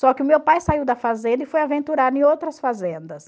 Só que o meu pai saiu da fazenda e foi aventurar em outras fazendas.